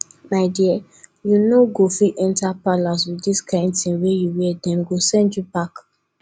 my dear you no go fit enter palace with dis kyn thing you wear dem go send you back